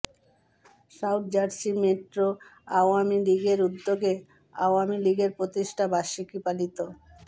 south Jersey metro আওয়ামী লীগের উদ্যোগে আওয়ামী লীগের প্রতিষ্ঠা বার্ষিকী পালিত